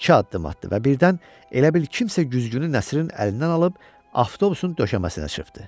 İki addım atdı və birdən elə bil kimsə güzgünü Nəsirin əlindən alıb avtobusun döşəməsinə çırptı.